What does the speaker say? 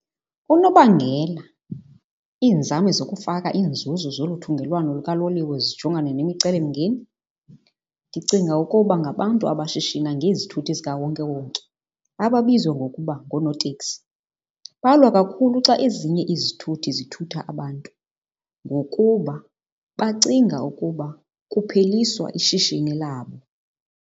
Unobangela iinzame zokufaka iinzuzo zoluthungelwano lukaloliwe zijongane nemicelimngeni, ndicinga ukuba ngabantu abashishina ngezithuthi zikawonkewonke ababizwa ngokuba ngonootekisi. Balwa kakhulu xa ezinye izithuthi zithutha abantu ngokuba bacinga ukuba kupheliswa ishishini labo.